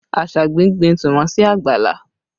Asabi gbin tìmọ́ sí àgbàlá